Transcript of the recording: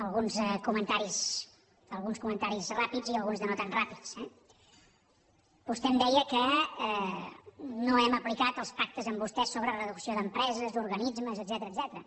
alguns comentaris ràpids i alguns de no tan ràpids eh vostè em deia que no hem aplicat els pactes amb vostès sobre reducció d’empreses d’organismes etcètera